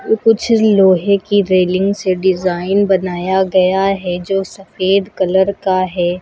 कुछ लोहे की रेलिंग से डिजाइन बनाया गया है जो सफेद कलर का है।